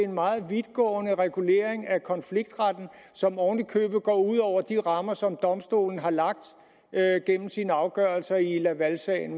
en meget vidtgående regulering af konfliktretten som oven i købet går ud over de rammer som eu domstolen har lagt gennem sine afgørelser i lavalsagen